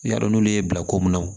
I y'a dɔn n'olu y'i bila ko mun na